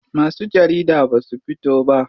Masu jarida basu fito ba.